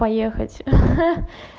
поехать